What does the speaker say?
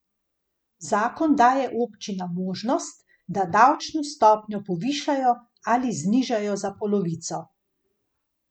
Zakon daje občinam možnost, da davčno stopnjo povišajo ali znižajo za polovico.